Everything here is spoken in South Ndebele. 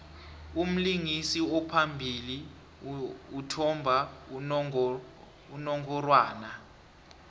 umlingisi ophambili uthmba unongorwana